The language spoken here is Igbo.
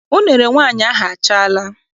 Unere nwaanyị ahụ achaala.